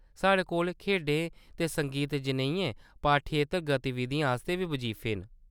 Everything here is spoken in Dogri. साढ़े कोल खेढें ते संगीत जनेहियें पाठ्येतर गतिविधियें आस्तै बी बजीफे न।